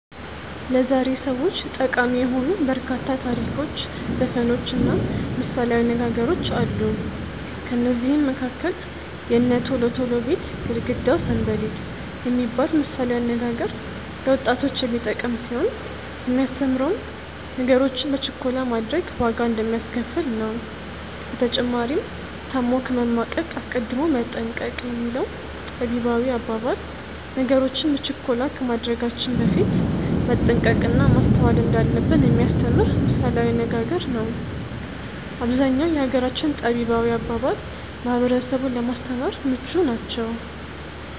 ለዛሬ ሰዎች ጠቃሚ የሆኑ በርካታ ታሪኮች ዘፈኖች እና ምሳሌያዊ አነጋገሮች አሉ። ከነዚህም መካከል "የእነ ቶሎ ቶሎ ቤት ግርግዳው ሰንበሌጥ።" የሚባል ምሳሌያዊ አነጋገር ለወጣቶች የሚጠቅም ሲሆን የሚያስተምረውም ነገሮችን በችኮላ ማድረግ ዋጋ እንደሚያስከፍል ነው። በተጨማሪም "ታሞ ከመማቀቅ አስቀድሞ መጠንቀቅ።" የሚለው ጠቢባዊ አባባል ነገሮችን በችኮላ ከማድረጋችን በፊት መጠንቀቅ እና ማስተዋል እንዳለብን የሚያስተምር ምሳሌያዊ አነጋገሩ ነው። አብዛኛው የሀገራችን ጠቢባዊ አባባል ማህበረሰቡን ለማስተማር ምቹ ናቸው።